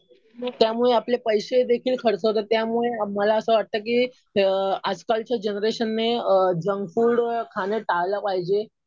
त्यामुळे आपले पैशे देखील खर्च होतात. त्यामुळे मला असं वाटतं कि आजकालच्या जनरेशनने जंक फूड खाणं टाळलं पाहिजे.